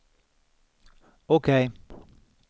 OK